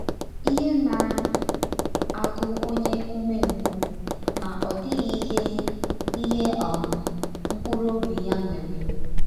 “ Ihe na - agụ ọnye ụmengwụ, ma ọ dịghị ihe ihe um mkpụrụ ọbi ya nwere.